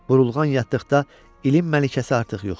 Burulğan yatdıqda ilin məlikəsi artıq yox idi.